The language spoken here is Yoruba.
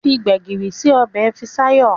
Fí gbegiri sí Ọbẹ̀ Fikayo.